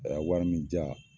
A y'a wari min di ya